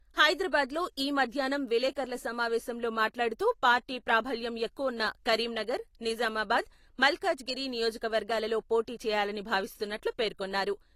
హైదరాబాద్‌లో ఈ మధ్యాహ్నం విలేకర్ల సమావేశంలో మాట్లాడుతూ పార్టీ ప్రాబల్యం ఎక్కువున్న కరీంనగర్, నిజామాబాద్, మల్కాజ్గిరి నియోజకవర్గాలలో పోటీ చేయాలని భావిస్తున్నట్లు పేర్కొన్నారు.